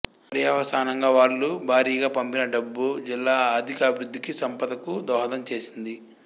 పర్యవసానంగా వాళ్ళు భారీగా పంపిన డబ్బు జిల్లా ఆర్థికాభివృద్ధికి సంపదకూ దోహదం చేసింది